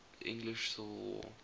english civil war